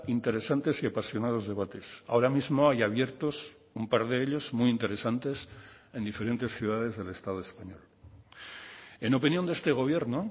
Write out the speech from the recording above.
interesantes y apasionados debates ahora mismo hay abiertos un par de ellos muy interesantes en diferentes ciudades del estado español en opinión de este gobierno